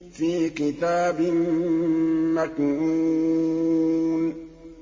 فِي كِتَابٍ مَّكْنُونٍ